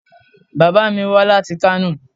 Bàbá mi wá láti Kano.